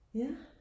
ja